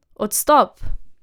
Odstop!